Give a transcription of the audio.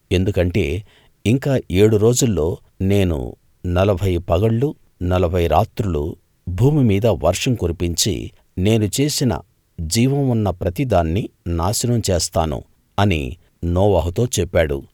ఎందుకంటే ఇంకా ఏడు రోజుల్లో నేను నలభై పగళ్ళు నలభై రాత్రులు భూమిమీద వర్షం కురిపించి నేను చేసిన జీవం ఉన్న ప్రతి దాన్ని నాశనం చేస్తాను అని నోవహుతో చెప్పాడు